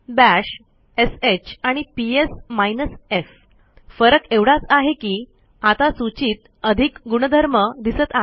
bash श आणि PS minus F फरक एवढाच आहे की आता सूचीत अधिक गुणधर्म दिसत आहेत